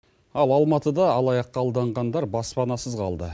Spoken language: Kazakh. ал алматыда алаяққа алданғандар баспанасыз қалды